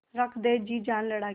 रख दे जी जान लड़ा के